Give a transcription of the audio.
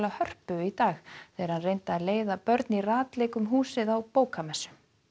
Hörpu í dag þegar hann reyndi að leiða börn í ratleik um húsið á bókamessu